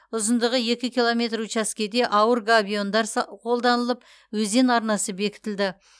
ұзындығы екі километр учаскеде ауыр габиондар са қолданылып өзен арнасы бекітілді